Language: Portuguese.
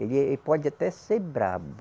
Ele eh, pode até ser brabo.